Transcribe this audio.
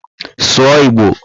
Sụọ Igbo!